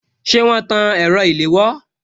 Ṣé wọn tan ẹ̀rọ ilewò